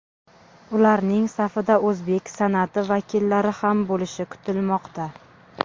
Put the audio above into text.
Ularning safida o‘zbek san’ati vakillari ham bo‘lishi kutilmoqda.